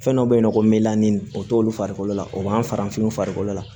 Fɛn dɔ be yen nɔ ko o t'olu farikolo la o b'an farafinw farikolo la